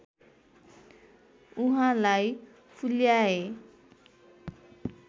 उहाँलाई फुल्याए